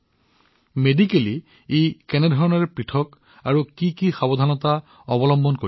চিকিৎসীয়ভাৱে ই কেনেকৈ পৃথক আৰু কি কি সাৱধানতাৰ প্ৰয়োজন